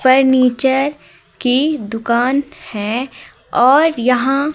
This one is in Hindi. फर्नीचर की दुकान है और यहां--